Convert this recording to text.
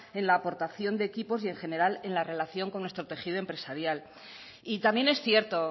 en la aportación de equipos y en general en la relación con nuestro tejido empresarial y también es cierto